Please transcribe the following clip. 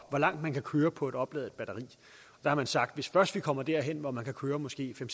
hvor langt man kan køre på et opladet batteri man har sagt at hvis først vi kommer derhen hvor man kan køre måske fem